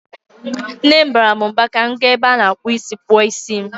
Nne m baara m mba ka m gaa n'ebe a na-akpụ is kpụọ isi m.